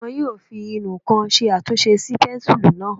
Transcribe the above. Wọ́n yóò fi ìnù-ǹkan ṣe àtúnṣe sí pẹ́ńsùlú náà